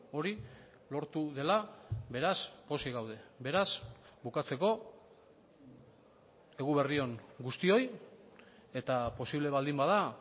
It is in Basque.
hori lortu dela beraz pozik gaude beraz bukatzeko eguberri on guztioi eta posible baldin bada